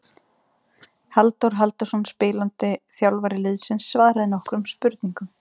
Halldór Halldórsson spilandi þjálfari liðsins svaraði nokkrum spurningum.